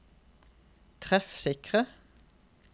treffsikre